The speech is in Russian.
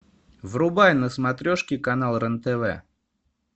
врубай на смотрешке канал рен тв